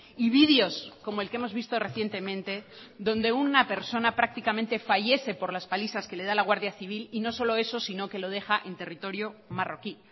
y vídeos como el que hemos visto recientemente donde una persona prácticamente fallece por las palizas que le da la guardia civil y no solo eso sino que lo deja en territorio marroquí